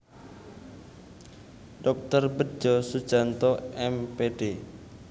Dr Bedjo Sujanto M Pd